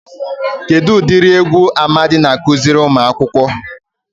Kedụ udiri egwu Amadi na-akụziri umuakwukwu?